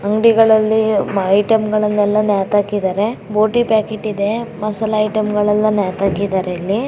ಅಂಗಡಿಗಳಲ್ಲಿ ಐಟಂಗಳನ್ನೆಲ್ಲಾ ನೇತಾಕಿದಾರೆ ಬೋಟಿ ಪ್ಯಾಕೆಟ್ ಮಸಾಲಾ ಪ್ಯಾಕೆಟ್ಗಳೆಲ್ಲ ನೇತಾಕಿದ್ದಾರೆ ಇಲ್ಲಿ.